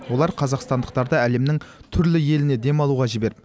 олар қазақстандықтарды әлемнің түрлі еліне демалуға жіберді